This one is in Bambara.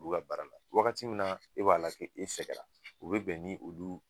[u b'u ka baara la, wagati min na e b'a la ko e sɛgɛnna o bɛ bɛn ni olu